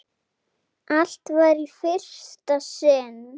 Allt var í fyrsta sinn.